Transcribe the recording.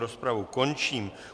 Rozpravu končím.